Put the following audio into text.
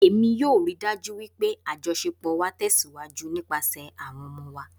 Emi yoo rii daju pe ajọṣepọ wa tẹsiwaju nipasẹ awọn ọmọ wa